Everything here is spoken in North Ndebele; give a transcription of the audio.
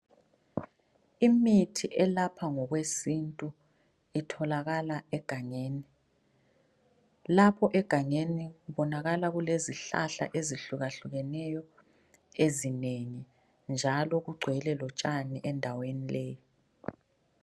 Imithi elapha ngokwesintu itholakala egangeni ,lapho egangeni kubonakala kulezihlahla ezehlukahlukaneyo ezinengi njalo kugcwele lotshani endaweni leyo.